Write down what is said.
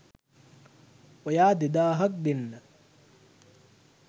ඔයා දෙදාහක් දෙන්න